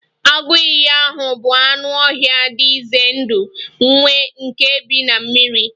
Agụ iyi ahụ bụ anụ ọhịa dị ize ndụ vey nke bi na mmiri